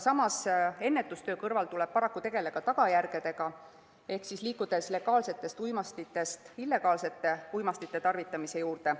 Samas, ennetustöö kõrval tuleb paraku tegeleda tagajärgedega, liikudes legaalsetest uimastitest illegaalsete uimastite juurde.